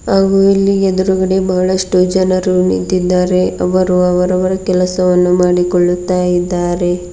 ಹಾಗು ಇಲ್ಲಿ ಎದುರುಗಡೆ ಬಹಳಷ್ಟು ಜನರು ನಿಂತಿದ್ದಾರೆ ಅವರು ಅವರವರ ಕೆಲಸವನ್ನು ಮಾಡಿಕೊಳ್ಳುತ್ತಾ ಇದ್ದಾರೆ.